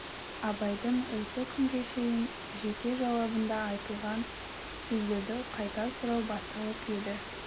абайдың осы күнге шейін жеке жауабында айтылған сөздерді қайта сұрау басталып еді